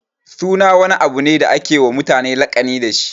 Suna wani abu ne da ake wa mutane laƙani dashi.